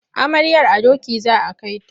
Amaryar a doki za a kai ta.